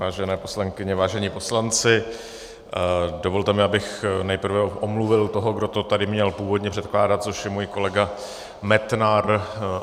Vážené poslankyně, vážení poslanci, dovolte mi, abych nejprve omluvil toho, kdo to tady měl původně předkládat, což je můj kolega Metnar.